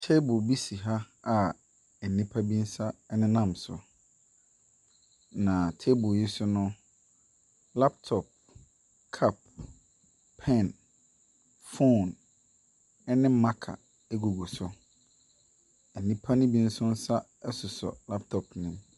Table bi si ha nnipa nsa nenam so. Na table yi so no, laptop, sup, pɛn, phone ne marker gugu so. Nnipa ne bi nso nsa sosɔ laptop ne mu.